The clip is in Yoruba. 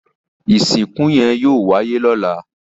Ìsìnkú yẹn yóò wáyé lọ́la